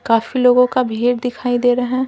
काफी लोगों का भीड़ दिखाई दे रहा है।